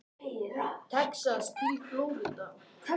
Texas til Flórída.